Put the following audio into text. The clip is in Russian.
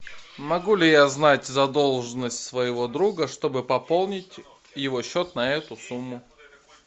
могу ли я знать задолженность своего друга чтобы пополнить его счет на эту сумму